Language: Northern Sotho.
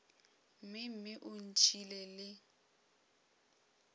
mme mme o ntšhiile le